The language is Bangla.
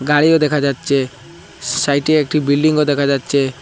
গাড়িও দেখা যাচ্ছে সাইটে একটি বিল্ডিংও দেখা যাচ্ছে।